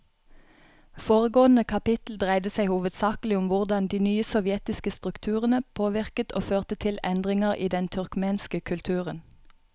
Foregående kapittel dreide seg hovedsakelig om hvordan de nye sovjetiske strukturene påvirket og førte til endringer i den turkmenske kulturen.